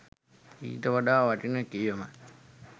ඊට වඩා වටින කියමන්